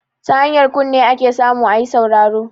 Ta hanyar kunne ake samu ayi sauraro